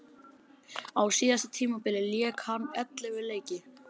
Á síðasta tímabili lék hann ellefu leiki.